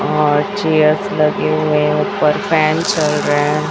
और चेयरस लगे हुए हैं ऊपर फैन चल रहे हैं।